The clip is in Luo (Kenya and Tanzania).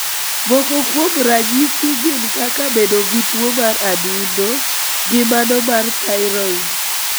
Moko kuom ranyisi gin kaka bedo gi tuo mar adundo gi mano mar thyroid.